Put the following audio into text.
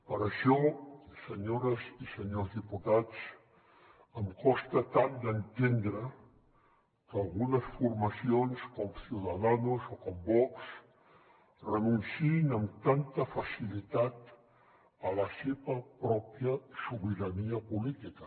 per això senyores i senyors diputats em costa tant d’entendre que algunes formacions com ciudadanos o com vox renunciïn amb tanta facilitat a la seva pròpia sobirania política